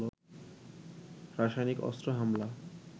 রাসয়নিক অস্ত্র হামলা